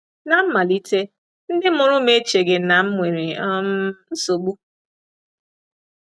Ná mmalite, ndị mụrụ m echeghị na m nwere um nsogbu.